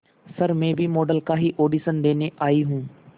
sir मैं भी model का ही ऑडिशन देने आई हूं